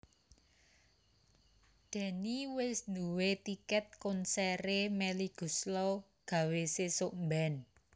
Deni wes duwe tiket konser e Melly Goeslaw gawe sesuk mben